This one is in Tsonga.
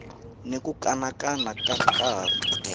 ni ku kanakana ko karhi